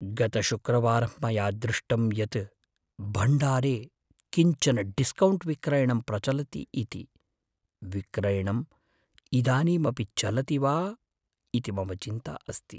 गतशुक्रवारं मया दृष्टम् यत् भण्डारे किञ्चन डिस्कौण्ट् विक्रयणं प्रचलति इति, विक्रयणं इदानीमपि चलति वा इति मम चिन्ता अस्ति।